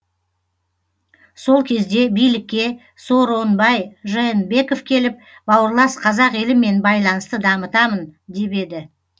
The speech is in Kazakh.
сол кезде билікке сооронбай жээнбеков келіп бауырлас қазақ елімен байланысты дамытамын деп еді